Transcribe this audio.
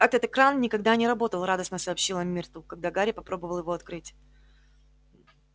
этот кран никогда не работал радостно сообщила миртл когда гарри попробовал его открыть